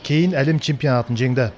кейін әлем чемпионатын жеңді